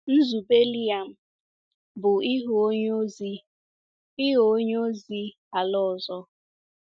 Nzube Liam bụ ịghọ onye ozi ịghọ onye ozi ala ọzọ.